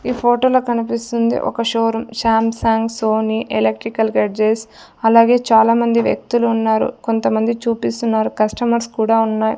ఈ ఫోటోలో కనిపిస్తుంది ఒక showroom Samsung Sony electrical gadgets అలాగే చాలామంది వ్యక్తులున్నారు కొంతమంది చూపిస్తున్నారు కస్టమర్స్ కూడా ఉన్నాయ్.